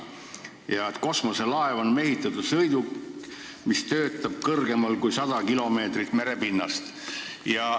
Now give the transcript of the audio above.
Veel öeldakse, et kosmoselaev on mehitatud sõiduk, mis töötab kõrgemal kui 100 km merepinnast.